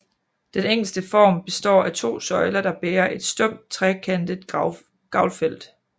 Den enkleste form består af to søjler der bærer et stump trekantet gavlfelt